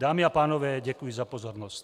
Dámy a pánové, děkuji za pozornost.